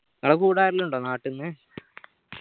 നിങ്ങള കൂട ആരേലും ഉണ്ടോ നാട്ടിന്ന്